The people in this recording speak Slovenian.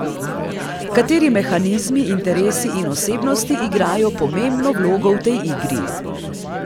Kateri mehanizmi, interesi in osebnosti igrajo pomembno vlogo v tej igri?